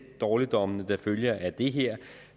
dårligdommene der følger af det her